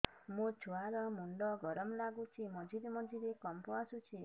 ମୋ ଛୁଆ ର ମୁଣ୍ଡ ଗରମ ଲାଗୁଚି ମଝିରେ ମଝିରେ କମ୍ପ ଆସୁଛି